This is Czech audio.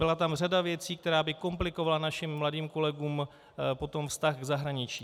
Byla tam řada věcí, která by komplikovala našim mladým kolegům potom vztah k zahraničí.